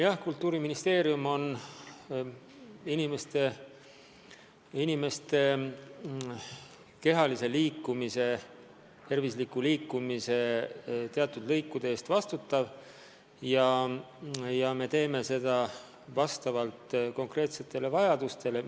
Jah, Kultuuriministeerium vastutab inimeste kehalise liikumise, tervisliku liikumise teatud töölõikude eest ja me teeme seda vastavalt konkreetsetele vajadustele.